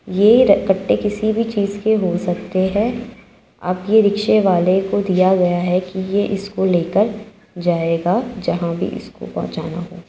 ये कट्टे किसी भी चीज के हो सकते हैं | अब ये रिक्शेवाले को दिया गया है कि ये इसको लेकर जाएगा जहां भी इसको पहुंचाना हो ।